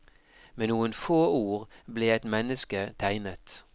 Med noen få ord ble et menneske tegnet.